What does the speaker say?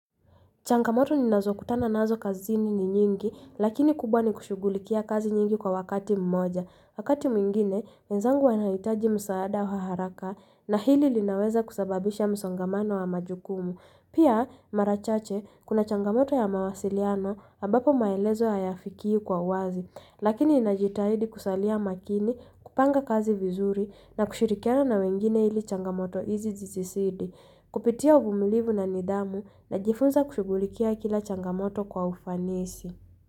Changamoto ni nazo kutana nazo kazini ni nyingi, lakini kubwa ni kushugulikia kazi nyingi kwa wakati mmoja. Wakati mwingine, wenzangu wanahitaji msaada wa haraka na hili linaweza kusababisha msongamano wa majukumu. Pia, mara chache, kuna changamoto ya mawasiliano, ambapo maelezo hayafiki kwa uwazi. Lakini, ninajitahidi kusalia makini, kupanga kazi vizuri na kushirikiana wengine hili changamoto hizi zizisidi. Kupitia uvumulivu na nidhamu na jifunza kushigulikia kila changamoto kwa ufanisi.